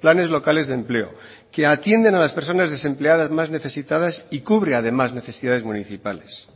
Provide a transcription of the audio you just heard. planes locales de empleo que atienden a las personas desempleadas más necesitadas y cubre además necesidades municipales